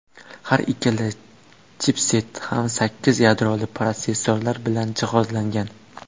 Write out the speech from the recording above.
Har ikkala chipset ham sakkiz yadroli protsessorlar bilan jihozlangan.